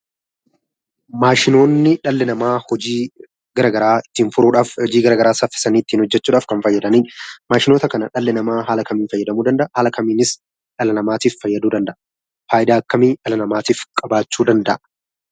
Maashinoonni dhalli namaa hojii garaa garaa ittiin furuudhaaf ,hojii gara garaa saffisanii ittiin hojjechuudhaf kan fayyadani. Maashinoota kana dhalli namaa haala kamiin fayyadamuu danda'a? haala kamiinis dhala namaatif fayyaduu danda'a? Faayidaa akkamii dhala namaatif qabaachuu danda'a?